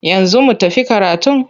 Yanzu za mu tafi karatun?